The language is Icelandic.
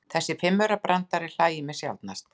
Þessi fimmaurabrandari hlægir mig sjaldnast.